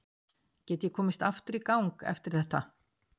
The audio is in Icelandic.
Get ég komist aftur í gang eftir þetta?